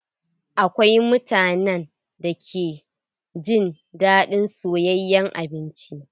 Akwai mutanen da ke jin daɗin soyayen abinci.